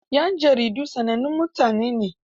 yan jaridu sanannun mutane ne.